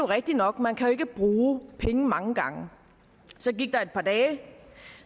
rigtig nok man kan ikke bruge penge mange gange så gik der et par dage